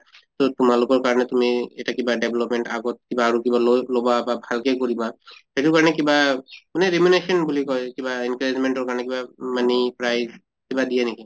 তʼ তোমালোকৰ কাৰণে তুমি এটা কিবা development আগত কিবা আৰু কিবা লʼবা বা ভালকে কৰিবা সেইটো কাৰণে কিবা মানে regulation বুলি কয় কিবা encouragement ৰ কাৰণে কিবা money prize কিবা দিয়ে নেকি?